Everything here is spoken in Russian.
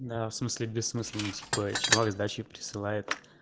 да в смысле бессмысленно типа чувак сдачи присылает